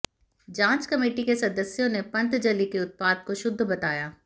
जांच कमेटी के सदस्यों ने पतंजलि के उत्पाद को शुद्ध बताया